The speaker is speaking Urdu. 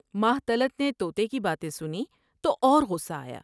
ماہ طلعت نے تونے کی باتیں سنیں تو اور قصہ آیا ۔